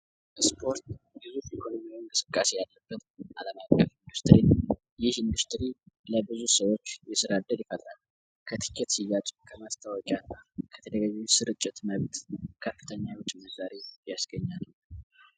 በስፖርት ዩዙፕ ኢኮሎሚን በስቃሴ ያለበት አለም ፍ ኢንዱስትሪን ይሽ ኢንዱስትሪ ለብዙት ሰዎች የስራደድ ይፈለም ከትኬት ስያጭ ከመትታወቂያ ከተደገች ስርጭት መብት ካፕተኛዎች መዛሪ ያስገኛ ነው፡፡